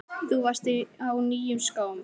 Þú varst á nýjum skóm.